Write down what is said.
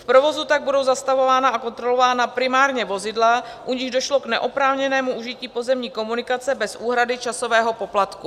V provozu tak budou zastavována a kontrolována primárně vozidla, u nichž došlo k neoprávněnému užití pozemní komunikace bez úhrady časového poplatku.